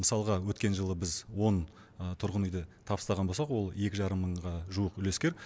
мысалға өткен жылы біз он тұрғын үйді табыстаған болсақ ол екі жарым мыңға жуық үлескер